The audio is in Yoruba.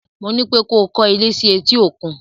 Mo ní pé ko kọ́ ilé sí etí-òkun!